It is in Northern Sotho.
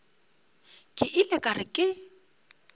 ke ile ka re ke